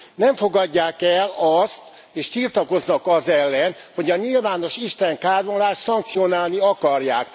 Nem fogadják el azt, és tiltakoznak az ellen, hogy a nyilvános istenkáromlást szankcionálni akarják.